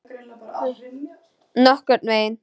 Nokkurn veginn.